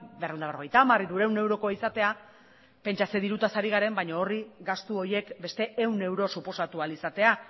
berrehun eta berrogeita hamar hirurehun eurokoa izatea pentsa ze dirutaz ari garen baina gastu horiek beste ehun euro suposatu ahal izatea